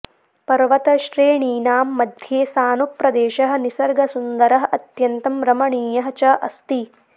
पर्वतश्रेणीनां मध्ये सानुप्रदेशः निसर्गसुन्दरः अत्यन्तं रमणीयः च अस्ति